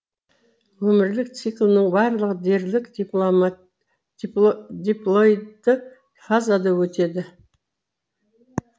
өмірлік циклының барлығы дерлік диплоидты фазада өтеді